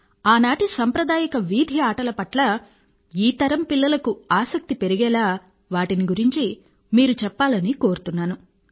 మీరు ఆనాటి సంప్రదాయక వీధి ఆటల పట్ల ఈ తరం పిల్లలకు ఆసక్తి పెరిగేలా వాటిని గురించి మీరు చెప్పాలని కోరుతున్నాను